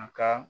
A ka